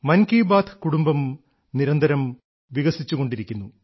മൻ കീ ബാത്ത് കുടുംബം നിരന്തരം വികസിച്ചുകൊണ്ടിരിക്കുന്നു